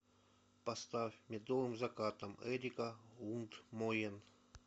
поставь медовым закатом эрика лундмоен